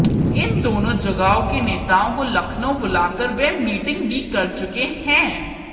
इन दोनों जगहों के नेताओं को लखनऊ बुला कर वे मीटिंग भी कर चुके हैं